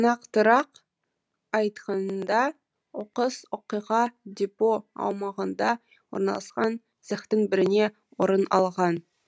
нақтырақ айтқанда оқыс оқиға депо аумағында орналасқан цехтың бірінде орын алған